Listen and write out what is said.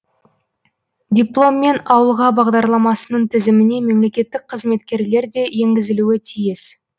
дипломмен ауылға бағдарламасының тізіміне мемлекеттік қызметкерлер де енгізілуі тиіс